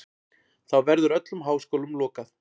Þá verður öllum háskólum lokað.